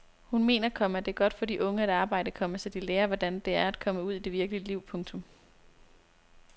Hun mener, komma det er godt for de unge at arbejde, komma så de lærer hvordan det er at komme ud i det virkelige liv. punktum